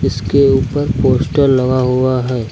इसके ऊपर पोस्टर लगा हुआ है।